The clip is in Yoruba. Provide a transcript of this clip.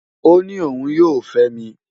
Ó ní òun yóò fẹ́ mi.